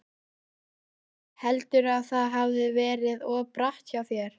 Sölvi: Heldurðu að það hafi verið of bratt hjá þér?